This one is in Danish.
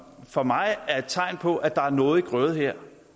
for mig er et tegn på at der er noget i grøde her